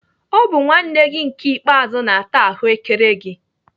Ọ bụ nwanne gị nke ikpeazu na-ata ahụ́kere gị.